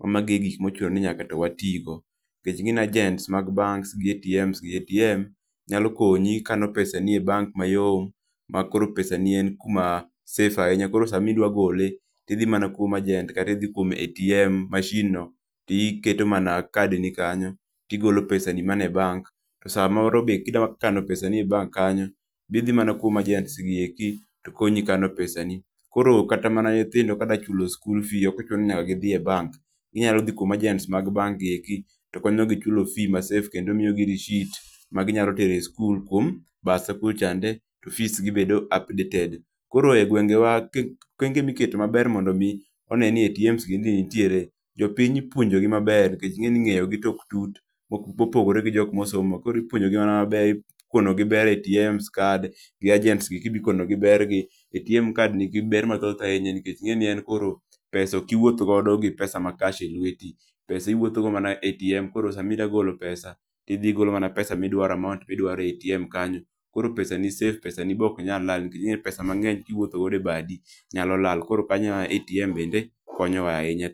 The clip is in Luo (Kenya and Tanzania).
ma magi gik ma ochuno ni nyaka watigo nikech inge ni [ccs]agents mag banks gi atms gi, atms nyalo konyi ikano pesa ni e banks mayom ma koro pesa ni en ku ma safe ahinya koro sa ma idwa gole idhi mana kuom agent kata idhi kuom atm machine no timiketo mana card ni kanyo ti igolo pesa ni ma ni e bank. Sa moro be ki idwa kano pesa ni e bank kanyo be idhi mana kuom agents gi eki to konyi kano pesa ni koro kata mana nyithindo ka dwa chulo skul fes ok ochu no ni nyaka gi dhi e banks gi nyalo dhi mana e agents gi eki to konyo gi chulo fees ma safe to kendo miyo gi risit ma gi nya tero e skul kuom bursar kucho chande to fees gi bedo updated. koro e gwengewa okenge mi iketo ma ber mondo mi one ni atms gi nitiere, jopiny ipuonjo gi ma ber nikech inge ni ngeyo to ok tut ma opogore gi jok ma osomo koro ipuonjo gi mana ma ber ikone gi ber atms card, gi agents gi eki be ikono gi ber gi atm card ni gi ber mathoth ahinya nikech inge ni en pesa koro ok iwuoth godo gi pesa mani e cash e lweti. Pesa i wuoth go mana e atm koro sa mi idhi golo pesa, ti idhi igolo mana pesa mi idwaro amount mi idwaroe atm kanyo , koro pesa ni safe pesa ni be ok nya lal nikech pesa mangney ki iwuotho go e bathi nyalo lal koro kanyo e ma atm bende konyo wa ahinya.